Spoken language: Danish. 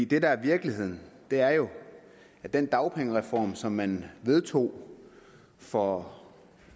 det der er virkeligheden er jo at den dagpengereform som man vedtog for